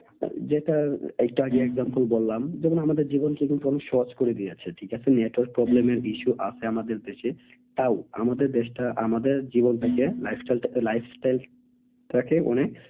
আহ যেটা একটু আগে example বললাম যেমন আমাদের জীবনকে কিন্তু অনেক সহজ করে দিয়ে যাচ্ছে ঠিক আছে। network problem এর issue আছে আমাদের দেশে তাও আমাদের দেশটা আমাদের জীবনটাকে lifestyle টাকে অনেক